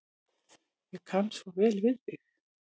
Ég kann svo vel við þig.